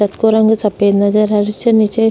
छत को रंग सफ़ेद नजर आ रेहो छे नीचे --